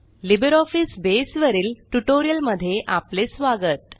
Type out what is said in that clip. LibreOffice base वरील tutorial मध्ये आपले स्वागत